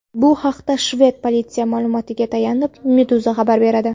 Bu haqda shved politsiyasi ma’lumotiga tayanib, Meduza xabar beradi .